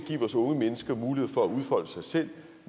vores unge mennesker mulighed for at udfolde sig selv